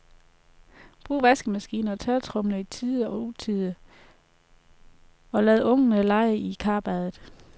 Brug vaskemaskine og tørretumbler i tide og utide, oglad ungerne lege i karbadet.